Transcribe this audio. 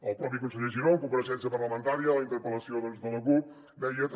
el propi conseller giró en compareixença parlamentària a la interpel·lació de la cup deia també